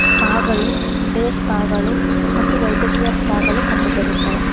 Spa ಗಳು day spa ಗಳು ಮತ್ತು ವೈದೇಕಿಯ ಸ್ಪಾ ಗಳು ಕಂಡು ಬರುತ್ತದೆ.